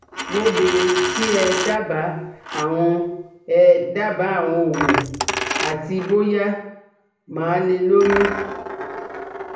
Mo bèèrè kí ẹ dábàá àwọn ẹ dábàá àwọn òògùn àti bóyá màá lè lóyún